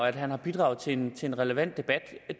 at han har bidraget til en en relevant debat